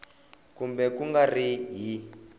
kumbe ku nga ri hi